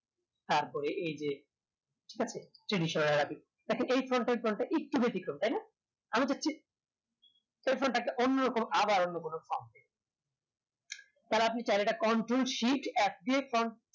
তারপরে এই যে ঠিক আছে যে বিষয় সে বিষয় এ দেখেন এই frount একটু বেতিক্রম তাই না আরো দেখছি এই front টাকে অন্যরকম আবার অন্য কোনো তাহলে আপনি চাইলে control shift alt দিয়ে